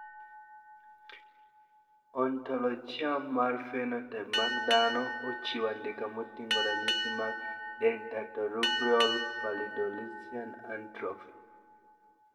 Ontologia mar phenotype mag dhano ochiwo andika moting`o ranyisi mag Dentatorubral pallidoluysian atrophy.